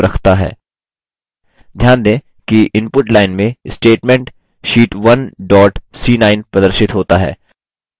ध्यान दें कि input line में statement sheet 1 dot c9 प्रदर्शित होता है